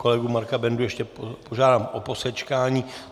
Kolegu Marka Bendu ještě požádám o posečkání.